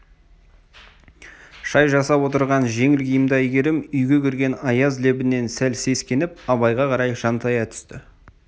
шай жасап отырған жеңіл киімді әйгерім үйге кірген аяз лебінен сәл сескеніп абайға қарай жантая түсті